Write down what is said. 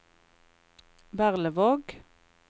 Berlevåg